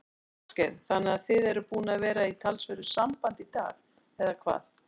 Ásgeir: Þannig að þið eruð búnir að vera í talsverðu sambandi í dag, eða hvað?